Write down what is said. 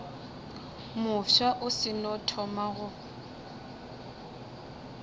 mofsa o seno thoma go